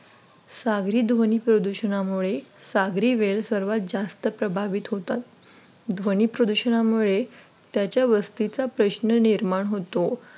सागरी ध्वनी प्रदूषणामुळे सागरी वेल जास्त प्रभावित होतात ध्वनी प्रदूषणामुळे त्याच्या वस्तीचा प्रश्न निर्माण होतो.